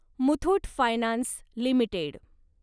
Muthoot finance limited